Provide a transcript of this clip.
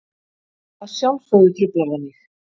Að sjálfsögðu truflar það mig.